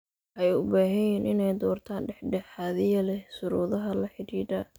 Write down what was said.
Waxay u baahan yihiin inay doortaan dhexdhexaadiye leh shuruudaha la xidhiidha.